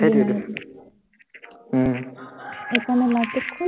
উম